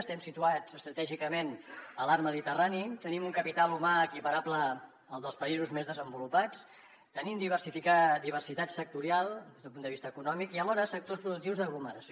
estem situats estratègicament a l’arc mediterrani tenim un capital humà equiparable al dels països més desenvolupats tenim diversitat sectorial des d’un punt de vista econòmic i alhora sectors productius d’aglomeració